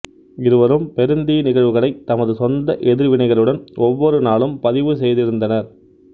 இருவரும் பெருந்தீ நிகழ்வுகளை தமது சொந்த எதிர்வினைகளுடன் ஒவ்வொருநாளும் பதிவு செய்திருந்தனர்